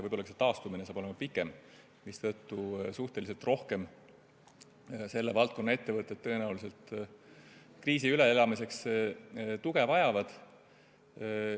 Võib-olla saab ka nende taastumine olema pikem, mistõttu vajavad selle valdkonna ettevõtted kriisi üleelamiseks tõenäoliselt suhteliselt rohkem tuge.